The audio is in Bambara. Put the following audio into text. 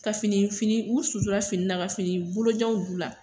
Ka fini , fini k'u sutura fini na , ka fini bolojanw don u la.